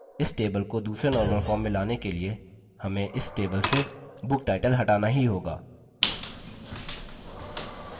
इस table को दूसरे normal form में लाने के लिए हमें इस table से booktitle हटाना ही होगा